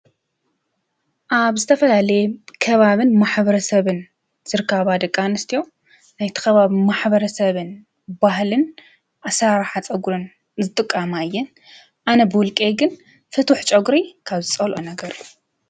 ኣብ ዝተፈላለየ ከባብን ማሕበረሰብን ዝርከባ ደቂ ኣንስትዮ ናይቲ ከባቢ ማሕ/ሰብን ባህልን ኣሰራርሓ ፀጉረን ዝጥቀማ እየን አነ ብውልቀይ ግን ፍቱሕ ፀጉሪ ካብ ዝፀልኦ ነገር እዩ።